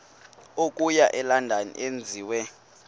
okuya elondon enziwe